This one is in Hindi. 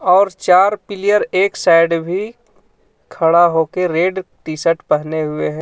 और चार पीलियर एक साइड भी खड़ा होके रेड टी-शर्ट पहने हुए है।